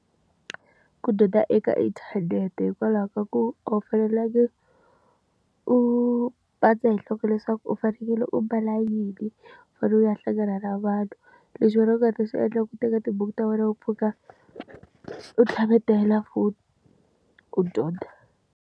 Ku dyondza eka inthanete hikwalaho ka ku a wu fanelanga u pandza hi nhloko leswaku u fanekele u mbala yini, u fanele u ya hlangana na vanhu. Leswi wena u nga ta swi endla ku teka tibuku ta wena u pfuka, u tlhavetela foni, u dyondza.